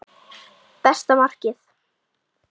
Besta markið?